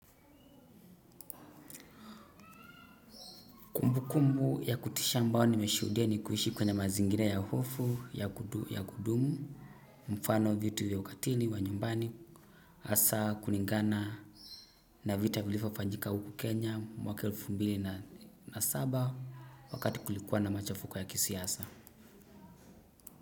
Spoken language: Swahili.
Kumbukumbu ya kutisha ambao nimeshuhudia ni kuishi kwenye mazingira ya hofu, ya kudumu, mfano vitu ya ukatili, wa nyumbani, hasa kulingana, na vita vilivyofanyika huku Kenya, mwaka elfu mbili na saba, wakati kulikuwa na machafuko ya kisiasa.